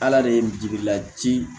Ala de ye n ladi